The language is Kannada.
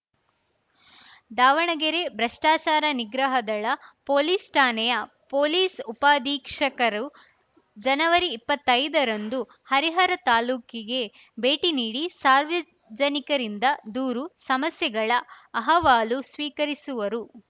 ದಾವಣಗೆರೆ ಭ್ರಷ್ಟಾಚಾರ ನಿಗ್ರಹ ದಳ ಪೊಲೀಸ್‌ ಠಾಣೆಯ ಪೊಲೀಸ್‌ ಉಪಾಧೀಕ್ಷಕರು ಜನವರಿ ಇಪ್ಪತ್ತೈದರಂದು ಹರಿಹರ ತಾಲೂಕಿಗೆ ಭೇಟಿ ನೀಡಿ ಸಾರ್ವಜನಿಕರಿಂದ ದೂರು ಸಮಸ್ಯೆಗಳ ಅಹವಾಲು ಸ್ವೀಕರಿಸುವರು